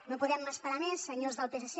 no podem esperar més senyors del psc